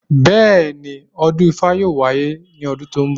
Bẹ́ẹ̀, ọdún ifá yóò wáyé ní ọdún tó ń bọ̀